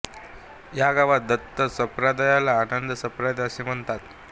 या गावात दत्त संप्रदायाला आनंद संप्रदाय असे म्हणतात